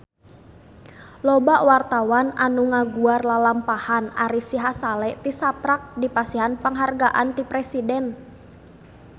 Loba wartawan anu ngaguar lalampahan Ari Sihasale tisaprak dipasihan panghargaan ti Presiden